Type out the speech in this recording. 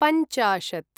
पञ्चाशत्